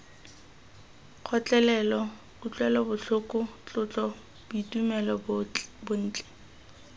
kgotlelelo kutlwelobotlhoko tlotlo boitumelo bontle